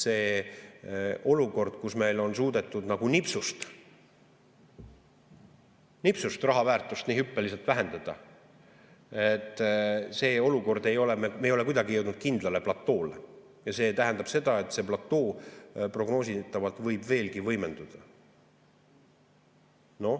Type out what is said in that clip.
See olukord, kus meil on suudetud nagu nipsust raha väärtust nii hüppeliselt vähendada, me ei ole kuidagi jõudnud kindlale platoole ja see tähendab seda, et see platoo prognoositavalt võib veelgi võimenduda.